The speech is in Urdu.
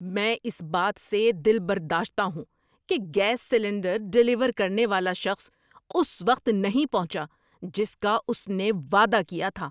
میں اس بات سے دلبرداشتہ ہوں کہ گیس سلنڈر ڈیلیور کرنے والا شخص اس وقت نہیں پہنچا جس کا اس نے وعدہ کیا تھا۔